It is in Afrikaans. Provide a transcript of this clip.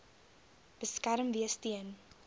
beskerm wees teen